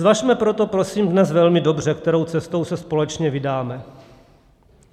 Zvažme proto, prosím, dnes velmi dobře, kterou cestou se společně vydáme.